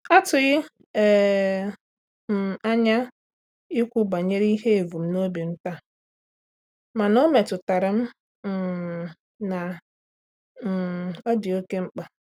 Atụghị um m anya ikwu banyere ihe evumnobi m taa, mana ọmetụtaram um na um ọ dị oke mkpa.